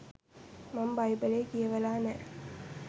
මම බයිබලේ කියවලා නෑ.